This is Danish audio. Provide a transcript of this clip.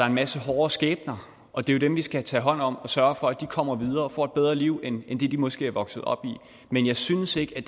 en masse hårde skæbner og det er jo dem vi skal tage hånd om og sørge for kommer videre og får et bedre liv end det de måske er vokset op i men jeg synes ikke